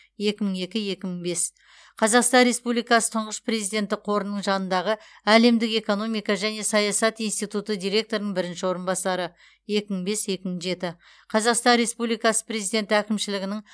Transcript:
екі мың екі екі мың бес қазақстан республикасы тұңғыш президенті қорының жанындағы әлемдік экономика және саясат институты директорының бірінші орынбасары екі мың бес екі мың жеті қазақстан республикасы президенті әкімшілігінің